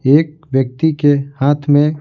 एक व्यक्ति के हाथ में--